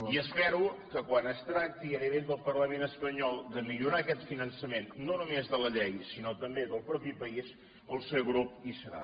i espero que quan es tracti a nivell del parlament espanyol de millorar aquest finançament no només de la llei sinó també del propi país el seu grup hi serà